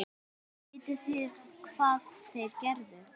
Vitið þið hvað þeir gerðu?